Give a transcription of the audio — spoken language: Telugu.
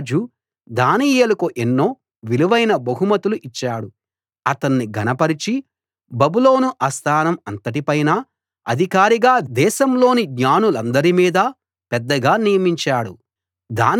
రాజు దానియేలుకు ఎన్నో విలువైన బహుమతులు ఇచ్చాడు అతణ్ణి ఘనపరచి బబులోను ఆస్థానం అంతటిపైన అధికారిగా దేశాలోని జ్ఞానులందరి మీద పెద్దగా నియమించాడు